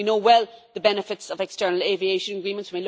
We know well the benefits of external aviation agreements.